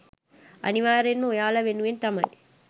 අනිවාර්යයෙන්ම ඔයාලා වෙනුවෙන් තමයි